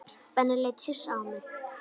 Benni leit hissa á mig.